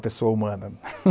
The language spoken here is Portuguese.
da pessoa humana